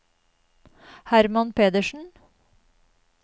Herman Pedersen